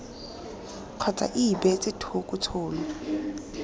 kgotsa ii beetse thoko tshono